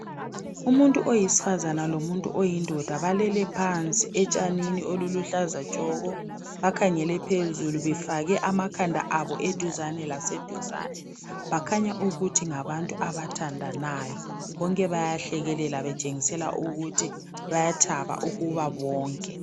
Umuntu oyisifazana lomuntu oyindoda balele phansi etshanini oluluhlaza tshoko .Bakhangele phezulu befake amakhanda abo eduzane laseduzane Bakhanya ukuthi ngabantu abathandanayo .Bonke bayahlekelela betshengisela ukuthi bayathaba ukuba bonke